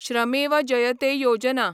श्रमेव जयते योजना